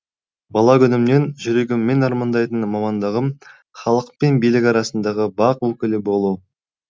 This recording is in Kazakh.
бала күнімнен жүрегіммен армандайтын мамандығым халық пен билік арасындағы бақ өкілі болу